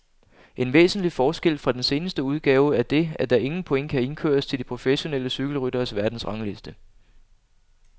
En væsentlig forskel fra den seneste udgave er det, at der ingen point kan indkøres til de professionelle cykelrytteres verdensrangliste.